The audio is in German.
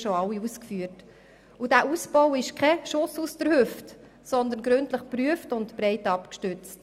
Dieser Ausbau ist kein Schuss aus der Hüfte, sondern wurde gründlich geprüft und ist breit abgestützt.